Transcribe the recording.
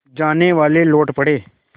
जानेवाले लौट पड़े